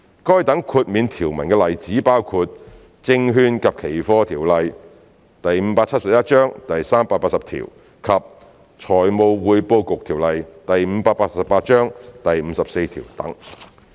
該等豁免條文的例子包括《證券及期貨條例》第380條及《財務匯報局條例》第54條等。